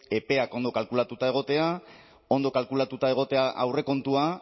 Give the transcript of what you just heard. epeak ondo kalkulatuta egotea ondo kalkulatuta egotea aurrekontua